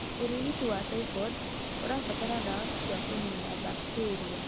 Urigiti wa typhoid ũrabatara ndawa cia kũniina bakteria